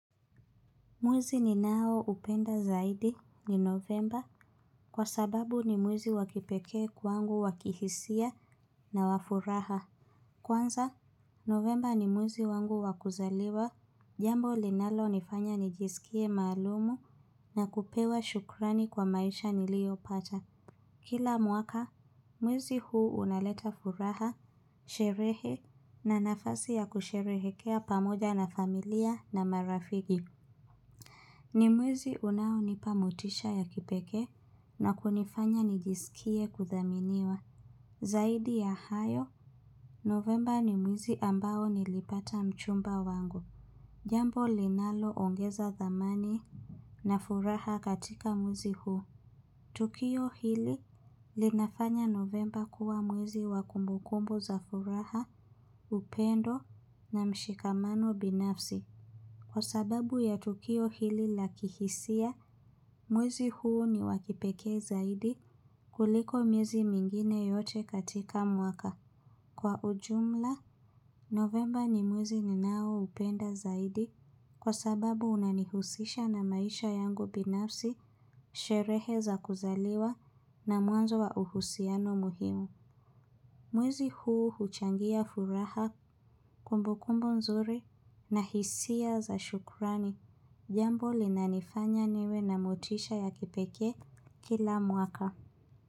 Mwezi ninaoupenda zaidi ni novemba kwa sababu ni mwezi wa kipekee kwangu wa kihisia na wa furaha. Kwanza, novemba ni mwezi wangu wa kuzaliwa, jambo linalonifanya nijisikie maalumu na kupewa shukrani kwa maisha niliopata. Kila mwaka, mwezi huu unaleta furaha, sherehe na nafasi ya kusherehekea pamoja na familia na marafiki. Ni mwezi unaonipa motisha ya kipekee na kunifanya nijisikie kuthaminiwa. Zaidi ya hayo, novemba ni mwezi ambao nilipata mchumba wangu. Jambo linaloongeza thamani na furaha katika mwezi huo. Tukio hili linafanya novemba kuwa mwezi wa kumbukumbu za furaha, upendo na mshikamano binafsi. Kwa sababu ya tukio hili la kihisia, mwezi huu ni wa kipekee zaidi kuliko mwezi mingine yote katika mwaka. Kwa ujumla, novemba ni mwezi ninaoupenda zaidi kwa sababu unanihusisha na maisha yangu binafsi sherehe za kuzaliwa na mwanzo wa uhusiano muhimu. Mwezi huu huchangia furaha kumbukumbu nzuri na hisia za shukrani, jambo linanifanya niwe na motisha ya kipekee kila mwaka.